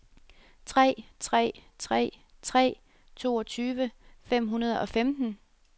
tre tre tre tre toogtyve fem hundrede og femten